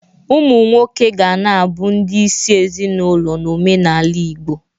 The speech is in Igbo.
Ụmụ nwoke ga na-abụ ndị isi ezinaụlọ n'omenala Igbo.